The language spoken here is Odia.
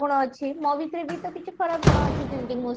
ଗୁଣ ଅଛି ମୋ ଭିତରେ ବି ତୋ କିଛି ଖରାପ ଗୁଣ ଅଛି ଯେମିତି ମୁଁ